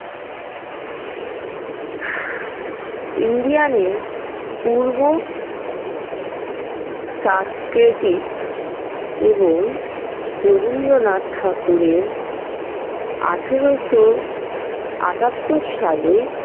Indian এর পূর্ব সাংস্কৃতিক এবং রবীন্দ্রনাথ ঠাকুরের আঠারোশো আটাত্তর সালে।